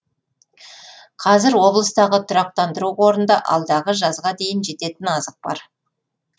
қазір облыстағы тұрақтандыру қорында алдағы жазға дейін жететін азық бар